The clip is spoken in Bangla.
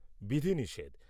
বিধিনিষেধ